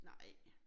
Nej